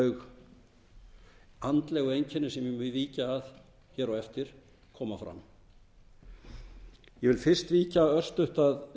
þau andlegu einkenni sem ég mun víkja að hér á eftir koma fram ég vil fyrst víkja örstutt að